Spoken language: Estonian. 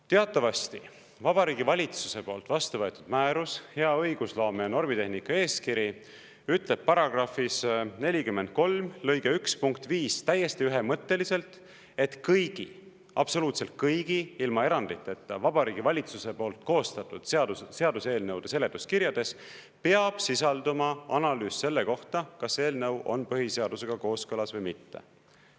Teatavasti Vabariigi Valitsuse poolt vastu võetud määrus, hea õigusloome ja normitehnika eeskiri ütleb § 43 lõikes 1 punkt 5 täiesti ühemõtteliselt, et kõigi – absoluutselt kõigi, ilma eranditeta – Vabariigi Valitsuse poolt koostatud seadus seaduseelnõude seletuskirjades peab sisalduma analüüs selle kohta, kas eelnõu on põhiseadusega kooskõlas või mitte.